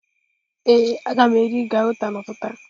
Ee, a ga m eri gauta n'ụtụtụ a.